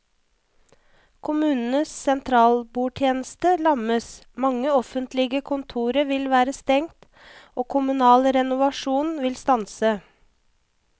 Kommunenes sentralbordtjeneste lammes, mange offentlige kontorer vil være stengt og kommunal renovasjon vil stanse.